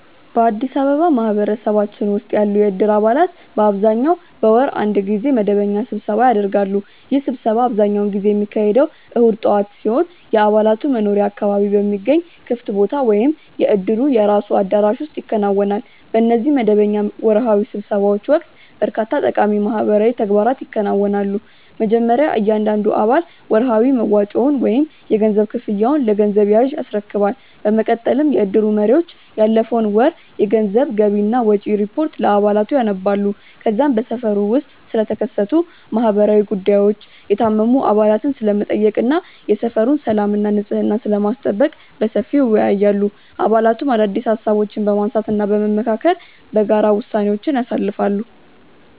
በአዲስ አበባ ማህበረሰባችን ውስጥ ያሉ የእድር አባላት በአብዛኛው በወር አንድ ጊዜ መደበኛ ስብሰባ ያደርጋሉ። ይህ ስብሰባ አብዛኛውን ጊዜ የሚካሄደው እሁድ ጠዋት ሲሆን፣ የአባላቱ መኖሪያ አካባቢ በሚገኝ ክፍት ቦታ ወይም የእድሩ የራሱ አዳራሽ ውስጥ ይከናወናል። በእነዚህ መደበኛ ወርሃዊ ስብሰባዎች ወቅት በርካታ ጠቃሚ ማህበራዊ ተግባራት ይከናወናሉ። መጀመሪያ እያንዳንዱ አባል ወርሃዊ መዋጮውን ወይም የገንዘብ ክፍያውን ለገንዘብ ያዡ ያስረክባል። በመቀጠልም የእድሩ መሪዎች ያለፈውን ወር የገንዘብ ገቢና ወጪ ሪፖርት ለአባላቱ ያነባሉ። ከዚያም በሰፈሩ ውስጥ ስለተከሰቱ ማህበራዊ ጉዳዮች፣ የታመሙ አባላትን ስለመጠየቅ እና የሰፈሩን ሰላምና ንጽሕና ስለማስጠበቅ በሰፊው ይወያያሉ። አባላቱም አዳዲስ ሃሳቦችን በማንሳትና በመመካከር በጋራ ውሳኔዎችን ያሳልፋሉ።